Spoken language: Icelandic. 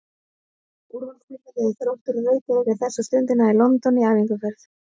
Úrvalsdeildarliðið Þróttur úr Reykjavík er þessa stundina í London í æfingaferð.